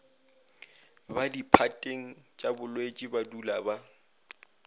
ba diphateng tšabolwetši badula ba